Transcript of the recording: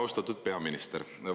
Austatud peaminister!